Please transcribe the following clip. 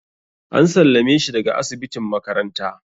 An sallame shi daga asibitin makaranta.